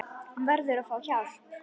Hún verður að fá hjálp.